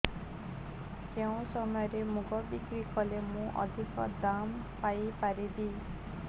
କେଉଁ ସମୟରେ ମୁଗ ବିକ୍ରି କଲେ ମୁଁ ଅଧିକ ଦାମ୍ ପାଇ ପାରିବି